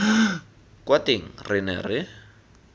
kwa teng re ne re